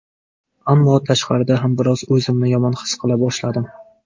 Ammo tashqarida ham biroz o‘zimni yomon his qila boshladim.